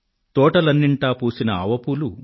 తోటలన్నింటా పూసిన ఆవపూలు